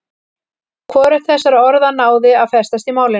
Hvorugt þessara orða náði að festast í málinu.